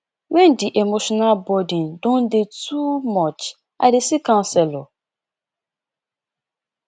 wen di emotional burden don dey too much i dey see counselor